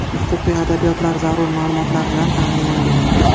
Huquqiy adabiyotlar, zarur ma’lumotlar bilan ta’minlangan.